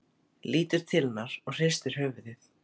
Lítur til hennar og hristir höfuðið.